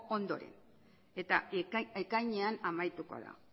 ondoren eta ekainean amaituko da